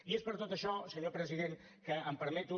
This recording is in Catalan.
i és per tot això senyor president que em permeto